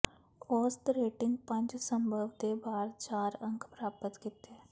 ਔਸਤ ਰੇਟਿੰਗ ਪੰਜ ਸੰਭਵ ਦੇ ਬਾਹਰ ਚਾਰ ਅੰਕ ਪ੍ਰਾਪਤ ਕੀਤੇ